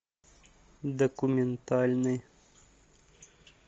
документальный